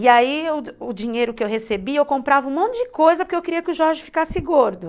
E aí o dinheiro que eu recebia, eu comprava um monte de coisa porque eu queria que o Jorge ficasse gordo.